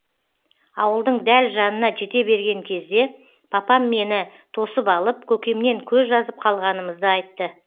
ауылдың дәл жанына жете берген кезде папам мені тосып алып көкемнен көз жазып қалғанымызды айтты